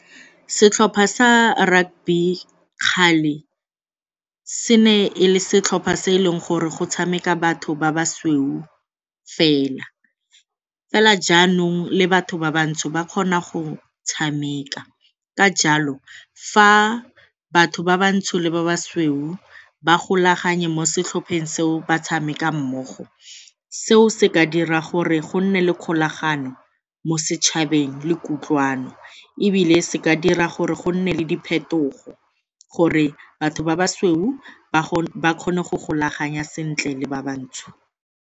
Setlhopha sa rugby kgale, se ne e le setlhopha se e leng gore go tshameka batho ba basweu fela, fela jaanong le batho ba bantsho ba kgona go tshameka. Ka jalo fa batho ba ba ntsho le ba ba sweu ba golaganya mo setlhopheng seo ba tshameka mmogo seo se ka dira gore go nne le kgolagano mo setšhabeng le kutlwano ebile se ka dira gore go nne le diphetogo gore batho ba ba sweu ba kgone go golaganya sentle le ba bantsho.